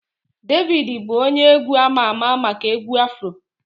Davido bụ onye egwu ama ama maka egwu Afro